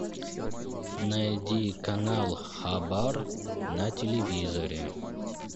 найди канал хабар на телевизоре